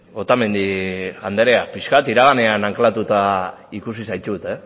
otamendi andrea pixka bat iraganean anklatuta ikusi zaitut